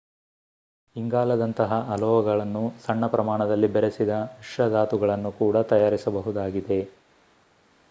ಇಂಗಾಲದಂತಹ ಅಲೋಹಗಳನ್ನು ಸಣ್ಣ ಪ್ರಮಾಣದಲ್ಲಿ ಬೆರೆಸಿದ ಮಿಶ್ರಧಾತುಗಳನ್ನು ಕೂಡ ತಯಾರಿಸಬಹುದಾಗಿದೆ